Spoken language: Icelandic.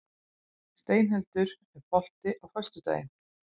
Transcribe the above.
Steinhildur, er bolti á föstudaginn?